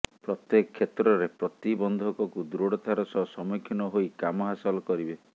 ପ୍ରତ୍ୟେକ କ୍ଷେତ୍ରରେ ପ୍ରତିବନ୍ଧକକୁ ଦୃଢ଼ତାର ସହ ସମ୍ମୁଖୀନ ହୋଇ କାମ ହାସଲ କରିବେ